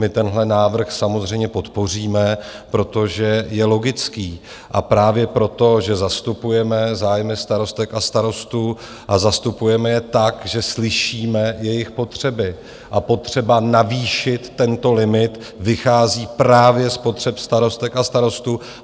My tenhle návrh samozřejmě podpoříme, protože je logické a právě proto, že zastupujeme zájmy starostek a starostů a zastupujeme je tak, že slyšíme jejich potřeby, a potřeba navýšit tento limit vychází právě z potřeb starostek a starostů.